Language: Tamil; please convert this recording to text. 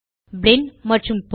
பிளின் மற்றும் போங்